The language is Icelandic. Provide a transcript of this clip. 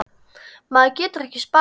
Matur getur ekki sparað.